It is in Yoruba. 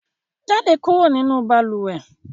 Jáde kúrò nínú balùwẹ̀!